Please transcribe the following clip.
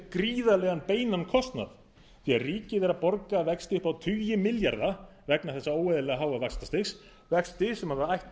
gríðarlegan beinan kostnað því ríkið er að borga vexti upp á tugi milljarða vegna þessa óeðlilega háa vaxtastigs vexti sem ætti ekki að